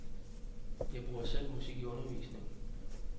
Jeg bruger selv musik i undervisningen.